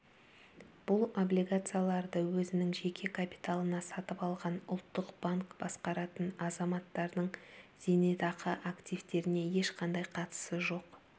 бұл облигацияларды өзінің жеке капиталына сатып алған ұлттық банк басқаратын азаматтардың зейнетақы активтеріне ешқандай қатысы жоқ